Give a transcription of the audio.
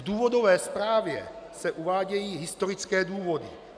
V důvodové zprávě se uvádějí historické důvody.